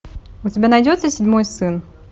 у тебя найдется седьмой сын